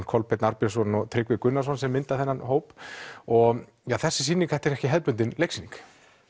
Kolbeinn Arnbjörnsson og Tryggvi Gunnarsson sem mynda þennan hóp og þessi sýnining þetta er ekki hefðbundin leiksýning